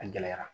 A gɛlɛyara